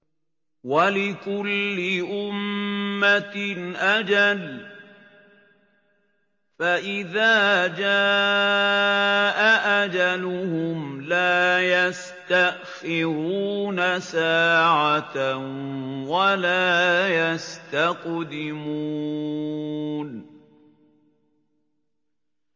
وَلِكُلِّ أُمَّةٍ أَجَلٌ ۖ فَإِذَا جَاءَ أَجَلُهُمْ لَا يَسْتَأْخِرُونَ سَاعَةً ۖ وَلَا يَسْتَقْدِمُونَ